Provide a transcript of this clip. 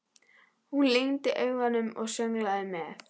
Hún lygndi augunum og sönglaði með.